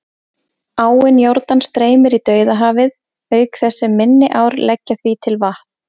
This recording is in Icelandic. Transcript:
Áin Jórdan streymir í Dauðahafið, auk þess sem minni ár leggja því til vatn.